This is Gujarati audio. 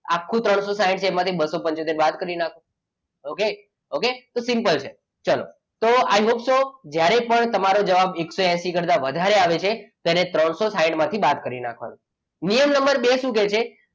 આખું ત્રણસો સાઈઠ માંથી બસો પંચોતેર બાદ કરી નાખવું પડે okay okay તો સિમ્પલ છે ચલો તો i hope so જ્યારે પણ તમારો જવાબ એકસો એસી કરતા વધારે આવે છે ત્યારે ત્રણસો સાઈઠ માંથી બાદ કરી નાખવાનું. નિયમ નંબર બે શું કહે છે,